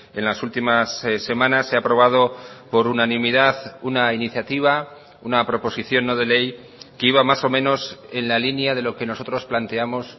en las últimas semanas se ha aprobado por unanimidad una iniciativa una proposición no de ley que iba más o menos en la línea de lo que nosotros planteamos